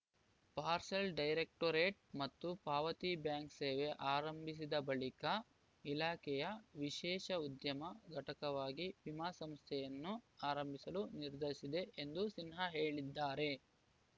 parcel directorate ಮತ್ತು ಪಾವತಿ bank ಸೇವೆ ಆರಂಭಿಸಿದ ಬಳಿಕ ಇಲಾಖೆಯು ವಿಶೇಷ ಉದ್ಯಮ ಘಟಕವಾಗಿ ವಿಮಾ ಸಂಸ್ಥೆಯನ್ನು ಆರಂಭಿಸಲು ನಿರ್ಧರಿಸಿದೆ ಎಂದು ಸಿನ್ಹಾ ಹೇಳಿದ್ದಾರೆ